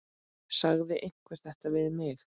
Sagði einhver þetta við mig?